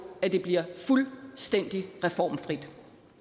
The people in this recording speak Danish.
at det bliver fuldstændig reformfrit